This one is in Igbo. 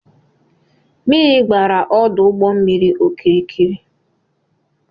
Mmiri gbara ọdụụgbọmmiri okirikiri